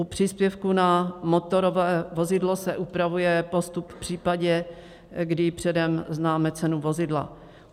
U příspěvku na motorové vozidlo se upravuje postup v případě, kdy předem známe cenu vozidla.